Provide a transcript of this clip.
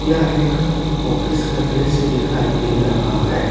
यह एक ऑफिस का दृश्य दिखाई दे रहा है।